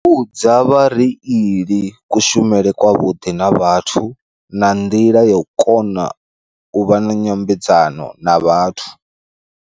U vhudza vhareili kushumele kwa vhuḓi na vhathu na nḓila ya u kona u vha na nyambedzano na vhathu.